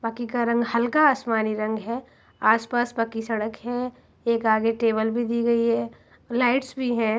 बाकि का रंग हल्का आसमानी रंग है| आस पास पक्की सड़क है | एक आगे टेबल भी दी गई है लाइट्स भी हैं।